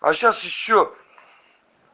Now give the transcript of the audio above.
а сейчас ещё